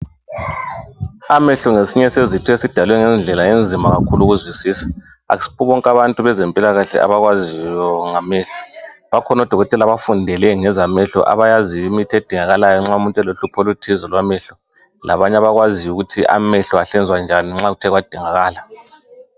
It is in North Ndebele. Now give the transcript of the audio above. Amehlo ngesinye sezitho esidalwe ngendlela enzima kakhulu ukuzwisisa. Asibo bonke abantu bezempilakahle abaziyo ngamehlo. Bakhona odokotela abafundele ngezamehlo abayaziyo imithi edingakalayo nxa umuntu elohlupho oluthize lwamehlo. Labanye abakwaziyo ukuthi amehlo ahlinzwa njani nxa kuthe kwadingakala.